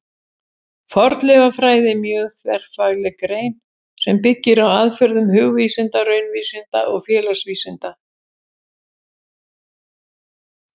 Fornleifafræði er mjög þverfagleg grein sem byggir á aðferðum hugvísinda, raunvísinda og félagsvísinda.